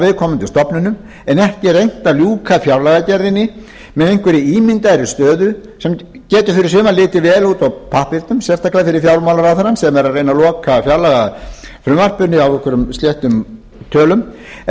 viðkomandi stofnunum en ekki reynt að ljúka fjárlagagerðinni með einhverri ímyndaðri stöðu sem getur fyrir suma litið vel út á pappírnum sérstaklega fyrir fjármálaráðherrann sem er að reyna að loka fjárlagafrumvarpinu á einhverjum sléttum tölum en